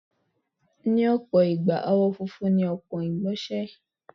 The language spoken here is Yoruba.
Ní ọ̀pọ̀ ìgbà, àwọ̀ funfun ni ọpọ́n ìgbọ̀nsẹ̀.